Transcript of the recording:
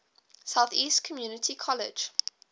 southeast community college